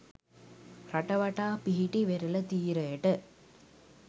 රට වටා පිහිටි වෙරළ තීරයට